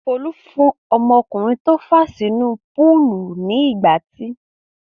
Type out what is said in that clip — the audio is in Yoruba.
Folú fún ọmọkùnrin tó fà á sínú púúlù ní ìgbátí.